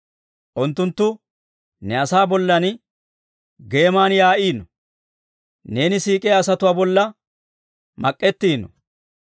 Unttunttu ne asaa bollan geeman yaa'iino; neeni siik'iyaa asatuwaa bolla mak'ettiino.